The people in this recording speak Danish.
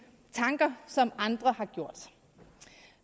tanker som andre har gjort